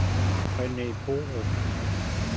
Rene Borup